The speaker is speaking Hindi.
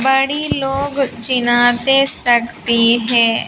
बड़ी लोग चिनाते सकती है।